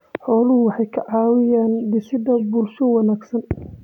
Xooluhu waxay ka caawiyaan dhisidda bulsho wanaagsan.